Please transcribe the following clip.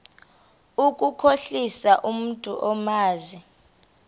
ukukhohlisa umntu omazi